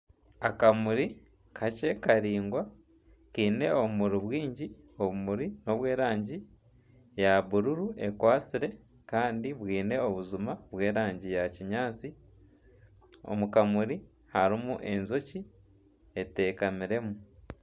Akamuri kakye karaingwa kiine obumuri bwingi, obumuri nobw'erangi ya bururu ekwatsire kandi bwine obujuma bw'erangi ya kinyaatsi omu kamuri harimu enjoki eteekamiremu.